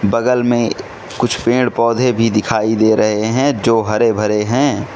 बगल में कुछ पेड़ पौधे भी दिखाई दे रहे हैं जो हरे भरे हैं।